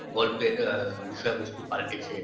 গল্পের আ বিষয় বস্তু পাল্টেছে